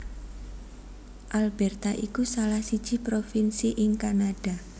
Alberta iku salah siji provinsi ing Kanada